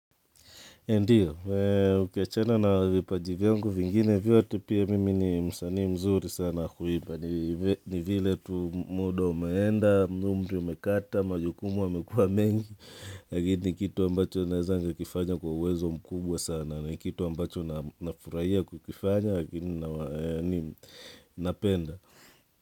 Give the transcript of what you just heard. Ndiyo, ukiachana na vipaji vyangu vingine vyote pia mimi ni msanii mzuri sana wa kuimba. Ni vile tu muda umeenda, umri umekata, majukumu yamekuwa mengi. Lakini, kitu ambacho naeza kukifanya kwa uwezo mkubwa sana. Kitu ambacho nafurahia kukifanya, lakini, napenda.